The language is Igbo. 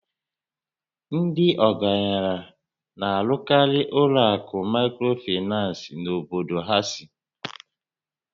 Ndị ọgaranya na-arụkarị ụlọ akụ Maịkrofinans n'obodo ha sì